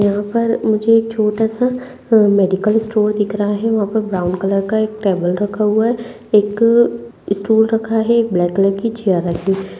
यहाँ पर मुझे छोटा -सा मेडिकल स्टोर दिख रहा है वहाँ पैर ब्राउन कलर का एक टेबल रखा हुआ है एकठो स्टूल रखा है ब्लैक कलर की चेयर रखी।